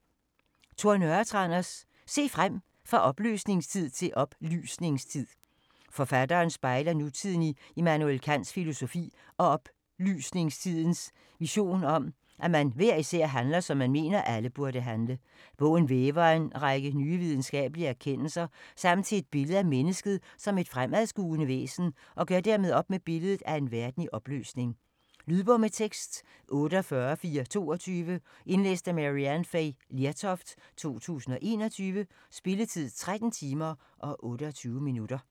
Nørretranders, Tor: Se frem: fra opløsningstid til oplysningstid Forfatteren spejler nutiden i Immanuel Kants filosofi og oplysningstidens vision om, at man hver især handler, som man mener, alle burde handle. Bogen væver en række nye videnskabelige erkendelser sammen til et billede af mennesket som et fremadskuende væsen og gør dermed op med billedet af en verden i opløsning. Lydbog med tekst 48422 Indlæst af Maryann Fay Lertoft, 2021. Spilletid: 13 timer, 28 minutter.